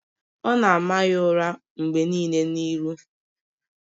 Ọ na-ama ya ụra mgbe nile n'ihu.